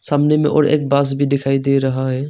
सामने में और एक बस भी दिखाई दे रहा है।